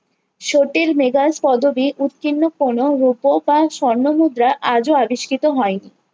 স্রোতের মেঘাস পদবী উৎকীর্ণ কোনো রূপ বা স্বর্ণ মুদ্রা আগেও আবিস্কৃত হয়নি